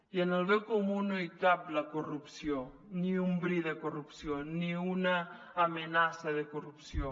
i en el bé comú no hi cap la corrupció ni un bri de corrupció ni una amenaça de corrupció